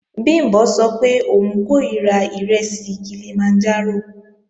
Bìmbọ́ sọ pé òun kòríra ìrẹsì Kilimanjaro